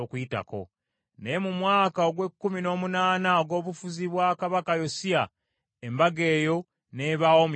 Naye mu mwaka ogw’ekkumi n’omunaana ogw’obufuzi bwa kabaka Yosiya, Embaga eyo n’ebaawo mu Yerusaalemi.